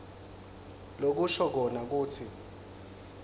lokusho kona kutsi